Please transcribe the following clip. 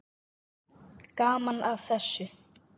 Gaman að þessu.